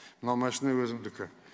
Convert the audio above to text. мына машина өзімдікі